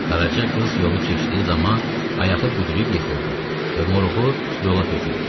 Qaraca qız yolu keçdiyi zaman ayağı büdrəyib yıxıldı və moruğu yola töküldü.